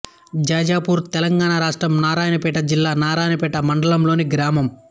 జాజాపూర్ తెలంగాణ రాష్ట్రం నారాయణపేట జిల్లా నారాయణపేట మండలంలోని గ్రామం